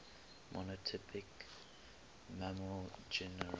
monotypic mammal genera